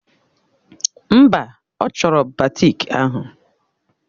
Mba, ọ chọrọ batiki ahụ.